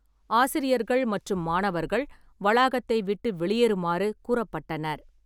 ஆசிரியர்கள் மற்றும் மாணவர்கள் வளாகத்தை விட்டு வெளியேறுமாறு கூறப்பட்டனர்.